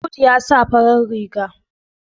Audu ya sa farar riga